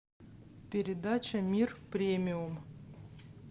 передача мир премиум